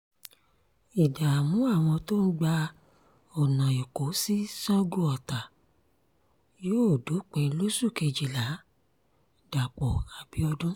ìdààmú àwọn tó ń gba ọ̀nà ẹ̀kọ́ sí sango-ọta yóò dópin lóṣù kejìlá- dapò abiodun